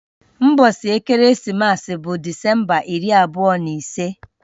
Ụbọchị ekeresimesi bụ Disemba iri abụọ na ise